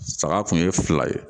Saga kun ye fila ye